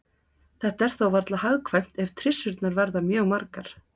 Þetta er þó varla hagkvæmt ef trissurnar verða mjög margar.